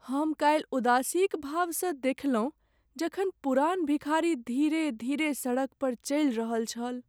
हम कालि उदासीक भावसँ देखलहुँ जखन पुरान भिखारी धीरे धीरे सड़क पर चलि रहल छल।